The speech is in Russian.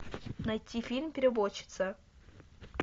найти фильм переводчица